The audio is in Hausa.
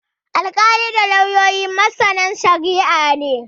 Alkalai da lauyoyi masana shari'a ne.